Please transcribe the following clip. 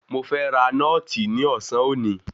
Mo fẹ́ ra nọ́ọ̀tì ní ọ̀sán òní.